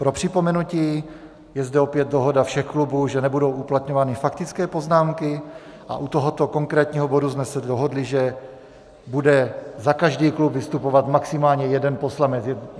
Pro připomenutí, je zde opět dohoda všech klubů, že nebudou uplatňovány faktické poznámky, a u tohoto konkrétního bodu jsme se dohodli, že bude za každý klub vystupovat maximálně jeden poslanec.